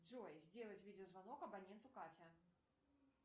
джой сделать видеозвонок абоненту катя